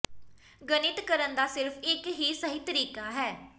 ਗਣਿਤ ਕਰਨ ਦਾ ਸਿਰਫ ਇੱਕ ਹੀ ਸਹੀ ਤਰੀਕਾ ਹੈ